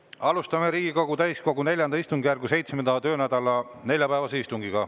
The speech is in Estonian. Alustame Riigikogu täiskogu IV istungjärgu 7. töönädala neljapäevast istungit.